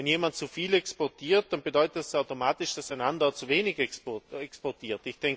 Wenn jemand zu viel exportiert, dann bedeutet das automatisch, dass ein anderer zu wenig exportiert?